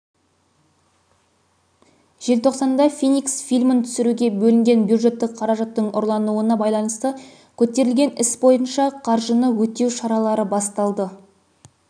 желтоқсанда феникс фильмін түсіруге бөлінген бюджеттік қаражаттың ұрлануына байланысты көтерілген іс бойынша қаржыны өтеу шаралары басталды